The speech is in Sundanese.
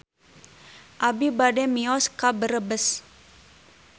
Abi bade mios ka Brebes